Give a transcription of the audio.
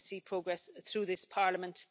I hope we see progress through this Parliament.